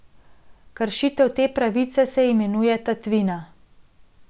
Kršitev te pravice se imenuje tatvina.